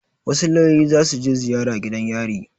Wasu lauyoyi za su je ziyara gidan yari.